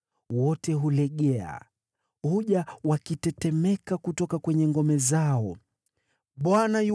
Wote wanalegea, wanatoka katika ngome zao wakitetemeka.